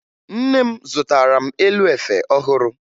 Nne m zụtara m elu efe ọhụrụ